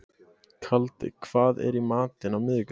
Kaldi, hvað er í matinn á miðvikudaginn?